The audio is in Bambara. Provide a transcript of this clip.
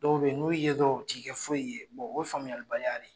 Dɔw bɛ yen n'u ye dɔrɔn u t'i kɛ foyi ye o ye faamuyalibaliya de ye.